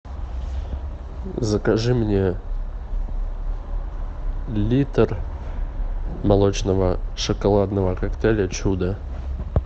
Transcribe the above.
закажи мне литр молочного шоколадного коктейля чудо